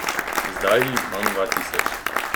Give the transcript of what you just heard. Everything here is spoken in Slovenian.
Zdaj jih imam dva tisoč.